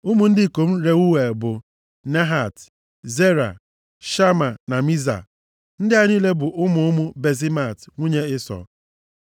Ụmụ ndị ikom Reuel bụ, Nahat, Zera, Shama na Miza. Ndị a niile bụ ụmụ ụmụ Basemat, nwunye Ịsọ.